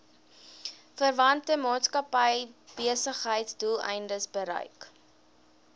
verwante maatskappybesigheidsdoeleindes gebruik